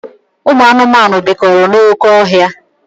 Ụmụ anụmanụ bikọrọ n'oké ọhịa.